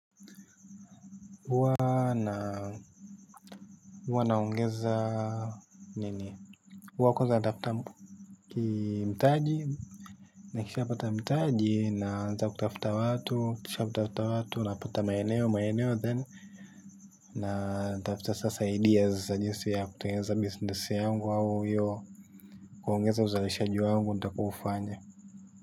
Huwa naongeza nini huwa kwanza natafuta mtaji. Nikishapata mtaji naanza kutafuta watu nikishatafuta watu. Napata maeneo maeneo then na natafuta sasa ideas za jinsi ya kutengeneza business yangu au kuongeza uzalishaji wangu nitakaoufanya.